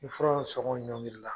Ni fura sɔngɔ ɲɔngirila